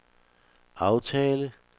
aftale